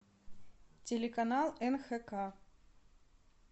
телеканал нхк